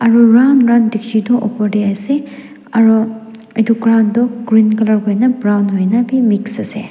aru round round dikchi tu opor tae ase aro edu ground toh green colour kuina brown hoina bi mix ase.